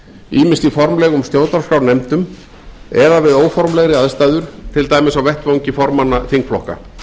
ýmist í formlegum stjórnarskrárnefndum eða við óformlegri aðstæður til dæmis á vettvangi formanna þingflokka